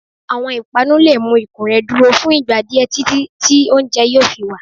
Awọn ipanú le mu ikùn rẹ duro fún ìgbà diẹ titi ti oúnjẹ yoo fí wa.